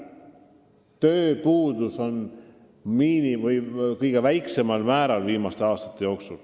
Tööpuudus on viimastel aastatel olnud kõige väiksem.